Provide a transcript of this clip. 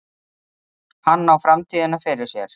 Hann á framtíðina fyrir sér.